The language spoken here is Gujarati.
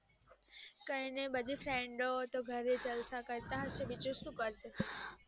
કઈ નહી બધી friend ઓ તો ઘરે જલસા કરતા હશે બીજું શું કરશે